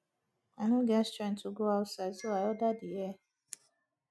i no get strength to go outside so i order the hair